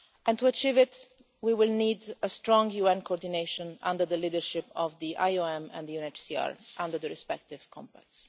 To achieve this we will need strong UN coordination under the leadership of the IOM and the UNHCR, under the respective Compacts.